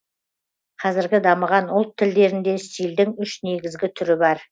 казіргі дамыған ұлт тілдерінде стильдің үш негізгі түрі бар